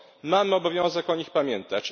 Mamy obowiązek o nich pamiętać.